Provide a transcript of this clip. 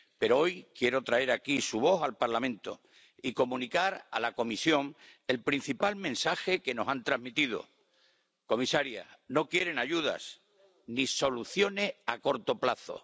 Pero hoy quiero traer su voz al Parlamento y comunicar a la Comisión el principal mensaje que nos han transmitido comisaria, no quieren ayudas ni soluciones a corto plazo.